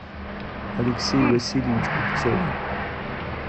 алексей васильевич купцов